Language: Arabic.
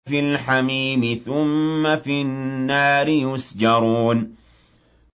فِي الْحَمِيمِ ثُمَّ فِي النَّارِ يُسْجَرُونَ